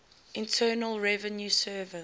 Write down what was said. internal revenue service